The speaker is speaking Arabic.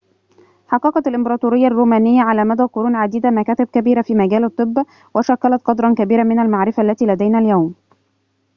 حققت الإمبراطورية الرومانية على مدى قرون عديدة مكاسب كبيرة في مجال الطب وشكّلت قدرًا كبيرًا من المعرفة التي لدينا اليوم